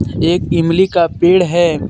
एक इमली का पेड़ है.